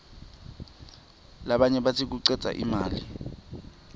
labanye batsi kucedza imali